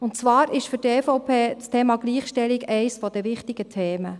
Und zwar ist für die Fraktion EVP das Thema Gleichstellung eines der wichtigen Themen.